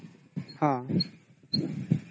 ହୁଁ